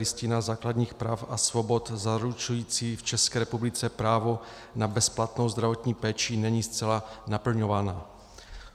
Listina základních práv a svobod zaručující v České republice právo na bezplatnou zdravotní péči, není zcela naplňována.